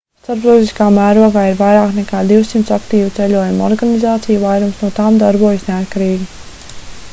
starptautiskā mērogā ir vairāk nekā 200 aktīvu ceļojumu organizāciju vairums no tām darbojas neatkarīgi